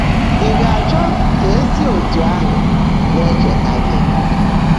Ị̀ gá-áchọ́ kà è sí ọ́tú́ áhụ́ ná-ècheèta gị́?